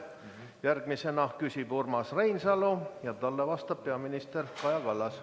Järgmisena küsib Urmas Reinsalu ja talle vastab peaminister Kaja Kallas.